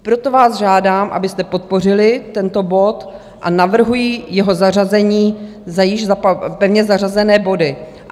Proto vás žádám, abyste podpořili tento bod, a navrhuji jeho zařazení za již pevně zařazené body.